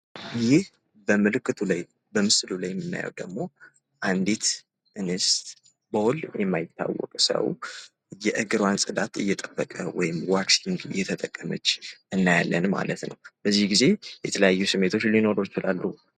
ይህ በምስሉ ላይ የምናየው ደግሞ አንዲት እንስት በወል የማይታወቅ ሰው የእግሯን ፅዳት እየጠበቀ ወይም ዋክስ እየተጠቀመች እናያለን ማለት ነው ።በዚህ ጊዜ የተለየ ስሜት ሊኖረው ይችላል ።